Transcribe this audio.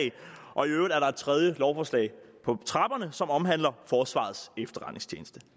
og i øvrigt er der et tredje lovforslag på trapperne som omhandler forsvarets efterretningstjeneste